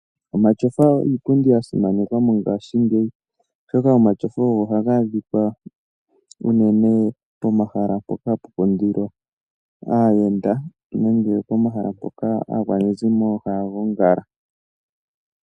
Omatyofa iipundi ya simanekwa mongaashingeyi, oshoka omatyofa ogo ha ga adhika pomahala mpoka ha pu kundilwa aayenda, nenge mpoka aantu ha ya gongala.